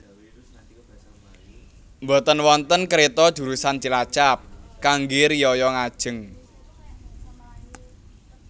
Mboten wonten kereto jurusan Cilacap kangge riyaya ngajeng